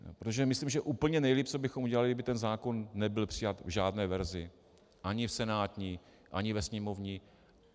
Protože myslím, že úplně nejlíp, co bychom udělali, kdyby ten zákon nebyl přijat v žádné verzi, ani v senátní, ani ve sněmovní.